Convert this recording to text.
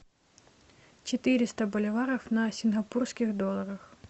четыреста боливаров на сингапурских долларах